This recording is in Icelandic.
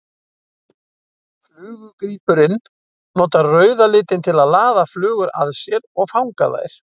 Flugugrípurinn notar rauða litinn til að laða flugur að sér og fanga þær.